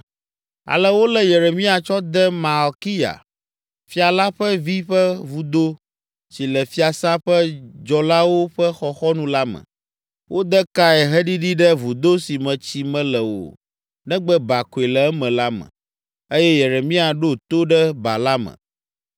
Ale wolé Yeremia tsɔ de Malkiya, fia la ƒe vi ƒe vudo si le fiasã ƒe dzɔlawo ƒe xɔxɔnu la me. Wode kae heɖiɖii ɖe vudo si me tsi mele o negbe ba koe le eme la me, eye Yeremia ɖo to ɖe ba la me.